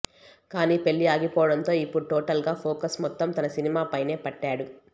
కానీ పెళ్లి ఆగిపోవడంతో ఇప్పుడు టోటల్ గా ఫోకస్ మొత్తం తన సినిమాపైనే పెట్టాడు